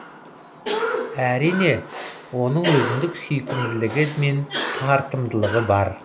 әрине оның өзіндік сүйкімділігі мен тартымдылығы бар